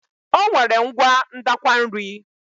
O nwere ngwa ndakwa nri.